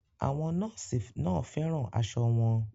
Àwọn nọ́ọ̀sì náà fẹ́ràn aṣọ wọn